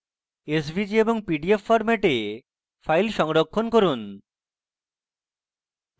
svg এবং pdf ফরম্যাটে file সংরক্ষণ করুন